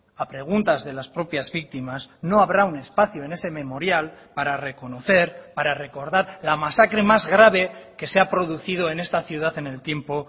a preguntas de las propias víctimas no habrá un espacio en ese memorial para reconocer para recordar la masacre más grave que se ha producido en esta ciudad en el tiempo